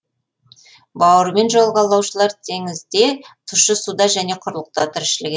бауырымен жорғалаушылар теңізде тұщы суда және құрлықта тіршілік етеді